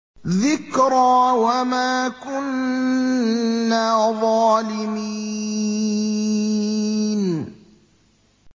ذِكْرَىٰ وَمَا كُنَّا ظَالِمِينَ